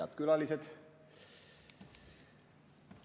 Head külalised!